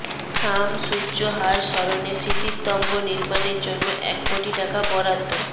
শামসুজ্জোহার স্মরণে স্মৃতিস্তম্ভ নির্মাণের জন্য এক কোটি টাকা বরাদ্দ